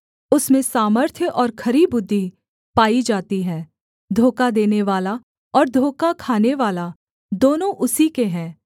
उसमें सामर्थ्य और खरी बुद्धि पाई जाती है धोखा देनेवाला और धोखा खानेवाला दोनों उसी के हैं